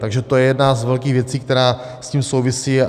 Takže to je jedna z velkých věcí, která s tím souvisí.